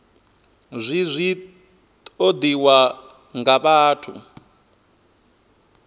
zwi zwi ṱoḓiwaho nga vhathu